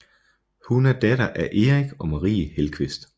Hun er datter af Erik og Marie Hellqvist